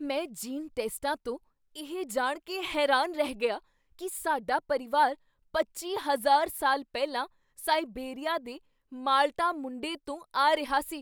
ਮੈਂ ਜੀਨ ਟੈਸਟਾਂ ਤੋਂ ਇਹ ਜਾਣ ਕੇ ਹੈਰਾਨ ਰਹਿ ਗਿਆ ਕੀ ਸਾਡਾ ਪਰਿਵਾਰ ਪੱਚੀ ਹਜ਼ਾਰ ਸਾਲ ਪਹਿਲਾਂ ਸਾਇਬੇਰੀਆ ਦੇ ਮਾਲਟਾ ਮੁੰਡੇ ਤੋਂ ਆ ਰਿਹਾ ਸੀ